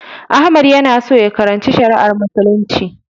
Ahmad yana so ya karanci Shari'ar Muslunci.